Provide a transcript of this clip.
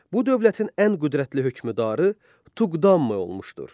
Bu dövlətin ən qüdrətli hökmdarı Tuqdamı olmuşdur.